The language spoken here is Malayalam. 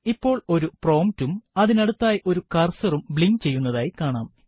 ഇപ്പോൾ ഒരു prompt ഉം അതിനടുത്തായി ഒരു കർസറും ബ്ലിങ്ക് ചെയ്യുന്നതായി കാണാം